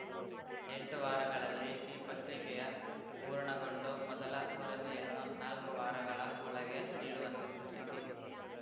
ಎಂಟು ವಾರಗಳಲ್ಲಿ ಈ ಪತ್ರಿಕೆಯ ಪೂರ್ಣಗೊಂಡು ಮೊದಲ ವರದಿಯನ್ನು ನಾಲ್ಕು ವಾರಗಳ ಒಳಗೆ ನೀಡುವಂತೆ ಸೂಚಿಸಿ